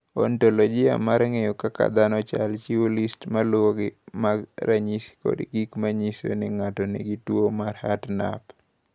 "Ontoloji mar ng’eyo kaka dhano chalo, chiwo list ma luwogi mag ranyisi kod gik ma nyiso ni ng’ato nigi tuwo mar Hartnup."